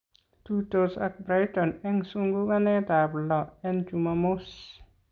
Tuitos ak Brighton en sunkukanetab loo en chumamos